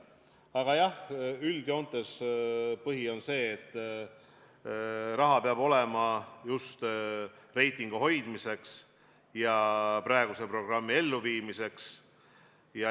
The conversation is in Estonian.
Aga jah, üldjoontes on põhiline see, et raha peab olema reitingu hoidmiseks ja praeguse programmi elluviimiseks.